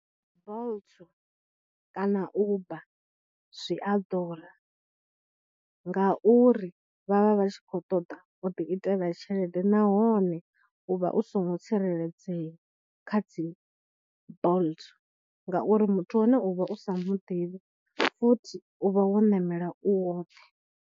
Bolt kana Uber zwi a ḓura ngauri vha vha vha tshi khou ṱoḓa u ḓi itela tshelede nahone u vha u songo tsireledzea kha dzi bolt ngauri muthu wahone u vha u sa mu ḓivhi, futhi u vha wo ṋamela u woṱhe.